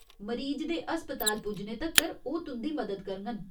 मरीज दे अस्पताल पुज्जने तक्कर ओह् तुं'दी मदद करङन।